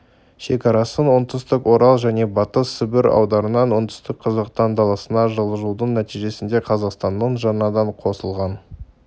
шекарасын оңтүстік орал және батыс сібір аудандарынан оңтүстікке қазақ даласына жылжудың нәтижесінде қазақстанның жаңадан қосылған